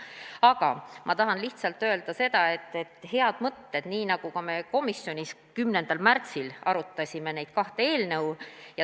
Aga ma tahan lihtsalt öelda seda, et ka meie komisjonis 10. märtsil arutasime neid kahte eelnõu.